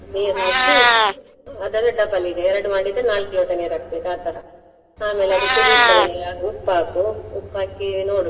ನೀರ್ ಹಾಕಿ ಅದನ್ನು double ಈಗ ಎರಡು ಮಾಡಿದ್ರೆ ನಾಲ್ಕು ಲೋಟ ನೀರು ಹಾಕ್ಬೇಕು ಆತರ, ಆಮೇಲೆ ಅದು ಆಗ ಉಪ್ಪ್ ಹಾಕು, ಉಪ್ಪ್ ಹಾಕಿ ನೋಡು.